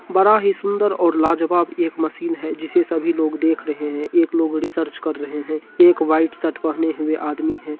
बड़ा ही सुंदर और लाजवाब एक मशीन है जिसे सभी लोग देख रहे हैं | एक लोग रिसर्च कर रहे हैं एक व्हाइट शर्ट पहने हुए आदमी है।